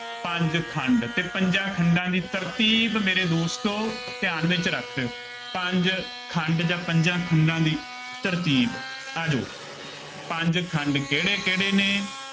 ਪੰਂਜ ਖੰਡ ਅਤੇ ਪੰਜਾਂ ਖੰਡਾਂ ਦੀ ਤਰਤੀਬ ਮੇਰੇ ਦੋਸਤੋ ਧਿਆਨ ਵਿੱਚ ਰੱਖ ਲਉ, ਪੰਜ ਖੰਡ ਜਾਂ ਪੰਜਾਂ ਖੰਡਾਂ ਦੀ ਤਰਤੀਬ, ਆ ਜਾਉ, ਪੰਜ ਖੰਡ ਕਿਹੜੇ ਕਿਹੜੇ ਨੇ,